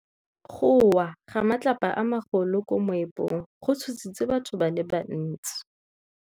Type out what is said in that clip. Go wa ga matlapa a magolo ko moepong go tshositse batho ba le bantsi.